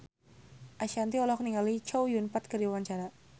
Ashanti olohok ningali Chow Yun Fat keur diwawancara